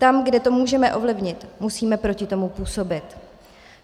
Tam, kde to můžeme ovlivnit, musíme proti tomu působit.